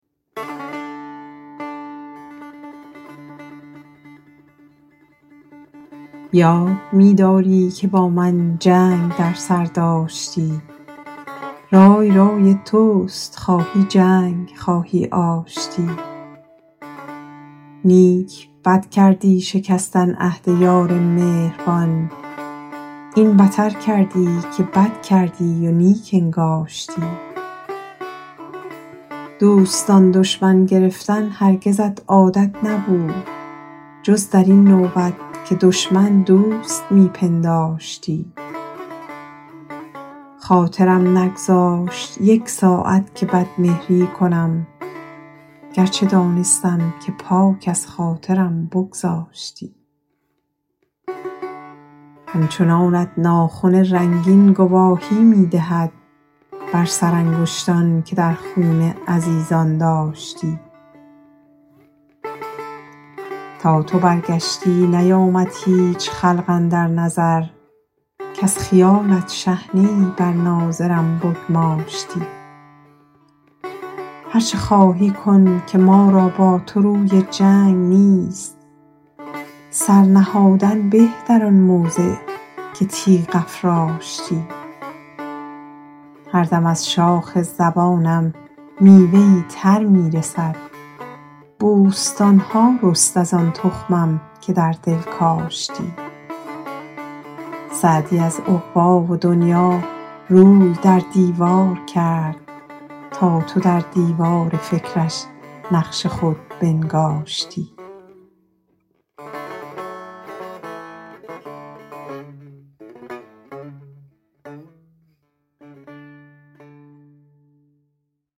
یاد می داری که با من جنگ در سر داشتی رای رای توست خواهی جنگ خواهی آشتی نیک بد کردی شکستن عهد یار مهربان این بتر کردی که بد کردی و نیک انگاشتی دوستان دشمن گرفتن هرگزت عادت نبود جز در این نوبت که دشمن دوست می پنداشتی خاطرم نگذاشت یک ساعت که بدمهری کنم گرچه دانستم که پاک از خاطرم بگذاشتی همچنانت ناخن رنگین گواهی می دهد بر سرانگشتان که در خون عزیزان داشتی تا تو برگشتی نیامد هیچ خلق اندر نظر کز خیالت شحنه ای بر ناظرم بگماشتی هر چه خواهی کن که ما را با تو روی جنگ نیست سر نهادن به در آن موضع که تیغ افراشتی هر دم از شاخ زبانم میوه ای تر می رسد بوستان ها رست از آن تخمم که در دل کاشتی سعدی از عقبی و دنیا روی در دیوار کرد تا تو در دیوار فکرش نقش خود بنگاشتی